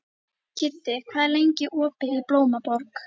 Kiddi, hvað er lengi opið í Blómaborg?